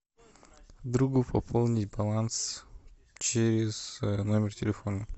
другу пополнить баланс через номер телефона